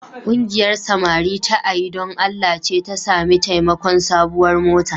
Ƙungiyar samari ta A yi Don Allah ce ta sami taimakon sabuwar mota.